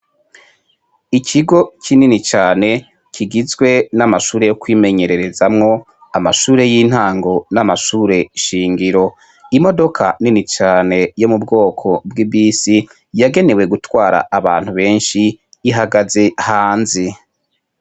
Ikigo kinini cane kigizwe n'amashure yo kwimenyererezamwo, amashure y'intango n'amashure nshingiro. Imodoka nini cane yo mu bwoko bw'ibisi yagenewe gutwara abantu besnhi, ihagaze hanze.